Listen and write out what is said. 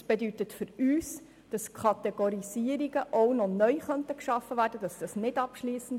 Dies bedeutet für uns, dass es nicht abschliessend ist und Kategorisierungen auch noch neu geschaffen werden könnten.